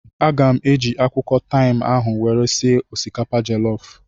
Aga m eji akwụkwọ taim ahụ were sie osikapa jellof